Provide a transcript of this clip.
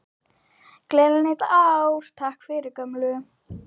Gleðilegt nýtt ár- Takk fyrir gömlu!